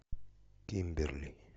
кимберли